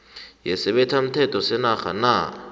yesibethamthetho senarha na